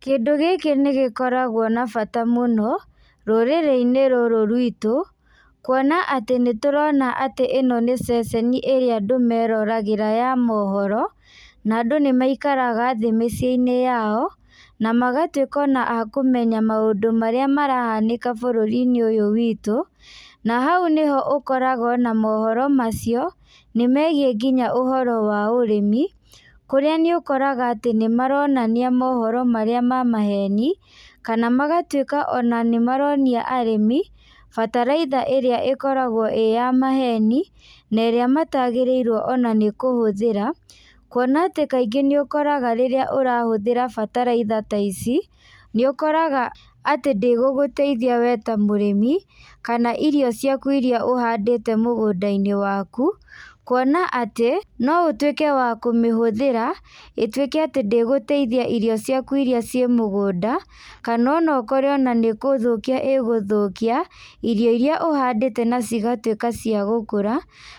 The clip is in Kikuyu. Kĩndũ gĩkĩ nĩgĩkoragwo na bata mũno, rũrĩrĩinĩ ruru rwitũ, kuona atĩ nĩtũrona atĩ ĩno nĩ ceceni ĩrĩa andũ meroragĩra ya mohoro, na nadũ nĩmaikaraga thĩ mĩciĩinĩ yao, namagatuĩka ona a kũmenya maũndũ marĩa marahanĩka bũrũrinĩ ũyũ witũ, na hau nĩho ũkoraga ona mohoro macio, nĩmegiĩ nginya ũhoro wa ũrĩmi, kũrĩa nĩ ũkoraga atĩ nĩmaronania mohoro marĩa ma maheni, kana magatuĩka ona nĩmaronia arĩmi, bataraitha ĩrĩa ĩkoragwo ĩ ya maheni, na ĩrĩa matagĩrĩirwo ona nĩ kũhũthĩra, kuona atĩ kaingĩ nĩũkoraga rĩrĩa ũrahũthĩra bataraitha ta ici, nĩũkoraga atĩ ndĩgũgũteithia we ta mũrĩmi, kana irio ciaku iria ũhandĩte mũgũndainĩ waku, kuona atĩ, no ũtuĩke wa kũmĩhũthĩra, ĩtuĩke atĩ ndĩgũteithia irio ciaku iria ciĩ mũgũnda, kana ona ũkore ona nĩkũthũkia ĩgũthũkia, irio iria ũhandĩte na cigatuĩka cia gũkũra,